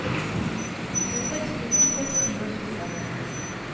tjueseks tusen seks hundre og tjue